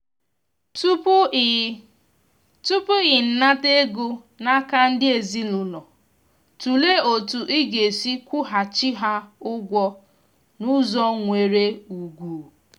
tupu i tupu i na-anata ego n'aka ndị ezinụlọ tụlee otu i ga-esi kwụ ha chi ha ugwo n'ụzọ nwèrè úgwù.